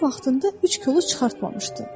O vaxtında üç kolu çıxartmamışdı.